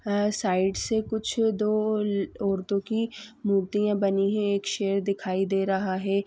अ side से कुछ दो अ औरतो की मूर्तियाॅं बनी हैं। एक शेर दिखाई दे रहा है।